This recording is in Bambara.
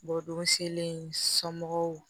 Bɔdon selen somɔgɔw